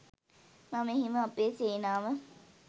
මම එහෙම අපේ සේනාව